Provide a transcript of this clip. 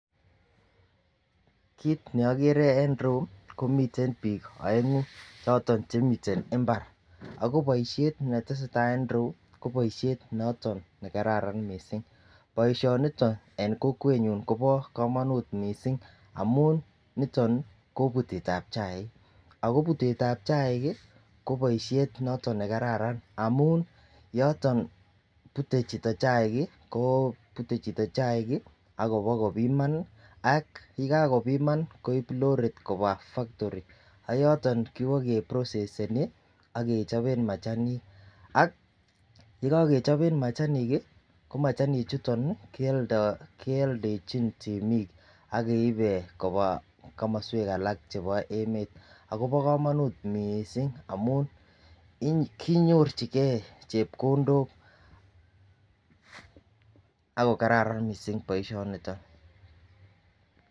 Kit neokere en irou komiten bik oengu choton chemiten imbari ako boishet netesetai en irou ko boishet noton nekararan missing, boishoniton en kokwenyun Kobo komonut missing amun nitonnii ko putetab chaik ako putetab chaik ko boishet noton nekararan amun yoton pute chito chaik ko pute chito chaik kii abakopima ak yekakopiman koib lorit koba factory ak yoton kibo ke proceseni ak kechoben machanik ak yekokechobe machanik kii ko machanik chuton nii keldo keoldechin temik ak keiben komoswek alak chebo emet akobo komonut missing amun konyorchigee chepkondok ak ko kararan missing boishoniton.